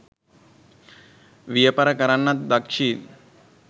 වියපර කරන්නත් දක්ෂිය්